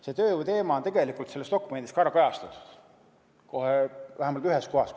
See tööjõuteema on tegelikult selles dokumendis ka kajastatud, vähemalt ühes kohas.